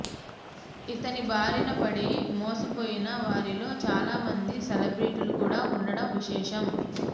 ఇతని బారినపడి మోసపోయిన వారిలో చాలా మంది సెలబ్రెటీలు కూడా వుండడం విశేషం